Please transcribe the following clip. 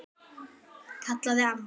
kallaði mamma.